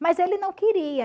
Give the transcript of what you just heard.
Mas ele não queria.